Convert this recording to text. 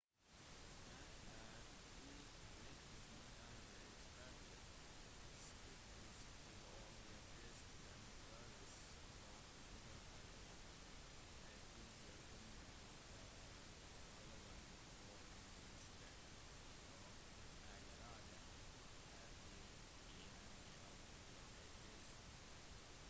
han er i likhet med andre eksperter skeptisk til om diabetes kan kureres og påpeker at disse funnene ikke er relevant for mennesker som allerede har type 1 diabetes